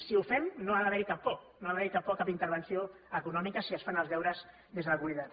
si ho fem no ha d’haver hi cap por no hi ha d’haver cap por a cap intervenció econòmica si es fan els deures des de la comunitat